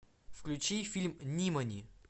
включи фильм нимани